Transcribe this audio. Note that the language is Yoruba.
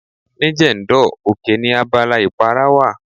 Ní Jendol, oke ni abala ìpara wà.